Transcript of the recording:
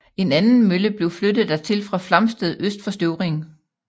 En anden mølle blev flyttet dertil fra Flamsted øst for Støvring